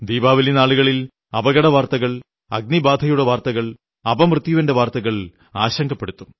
ദീപാവലി നാളുകളിൽ അപകട വാർത്തകൾ അഗ്നിബാധയുടെ വാർത്തകൾ അപമൃത്യുവിന്റെ വാർത്തകൾ ആശങ്കപ്പെടുത്തും